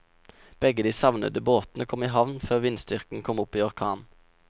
Begge de savnede båtene kom i havn før vindstyrken kom opp i orkan.